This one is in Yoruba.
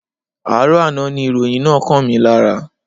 Àárọ̀ àná ni ìròyìn náà kàn mí lára.